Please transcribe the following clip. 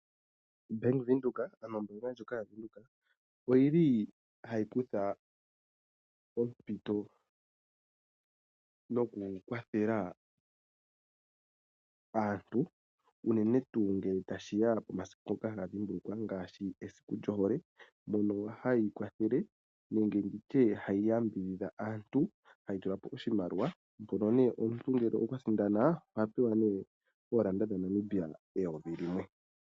Bank Windhoek nomombinga ndjika yaWindhoek oyili hayi kutha ompito noku kwathela aantu uunene tuu ngele tashiya pomasiku ngoka haga dhimbulukiwa ngaashi esiku lyohole, mono hayi kwathele nenge nditye hayi yambidhidha aantu hayi tula po oshimaliwa mpono nee omuntu ngele okwa sindana oha pewa nee oolanda dhaNamibia eyovi limwe.